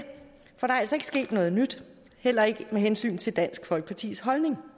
altså ikke sket noget nyt heller ikke med hensyn til dansk folkepartis holdning